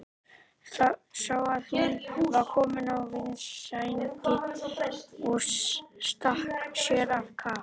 Sá að hún var komin að vindsænginni og stakk sér á kaf.